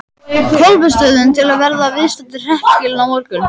Kolbeinsstöðum til að verða viðstaddir hreppskilin á morgun.